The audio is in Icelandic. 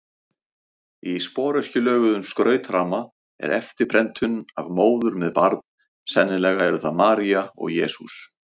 Í sporöskjulöguðum skrautramma er eftirprentun af móður með barn, sennilega eru það María og Jesús.